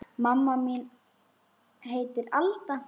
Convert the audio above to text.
Mamma mín heitir Alda.